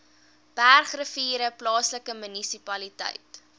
bergrivier plaaslike munisipaliteit